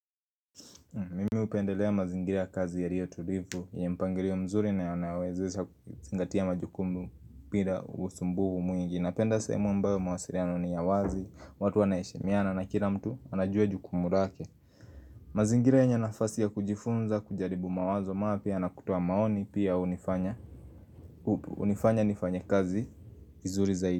Mimi hupendelea mazingira ya kazi yaliyo tulivu yenye mpangilio mzuri na yanawezesha kuzingatia majukumu bila usumbuvu mwingi Napenda sehemu ambayo mawasiliano ni ya wazi, watu wanaheshimiana na kila mtu anajua jukumu lake mazingira yenye nafasi ya kujifunza, kujaribu mawazo mapya na kutoa maoni pia unifanya unifanya nifanye kazi vizuri zaidi.